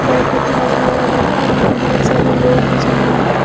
बाईकों पे आदमी आ रहे हैं और वहाँ पे बोहोत सारे लोग भी जमा हैं।